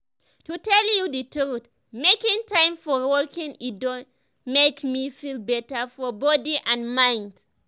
to tell you the truth making time for walking e don make me feel better for body and mind.